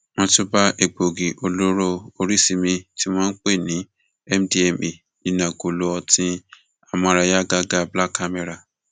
wọn tún bá egbòogi olóró oríṣìí mìín tí wọn pè ní mdma nínú agolo ọtí amóráyàgàgá black camera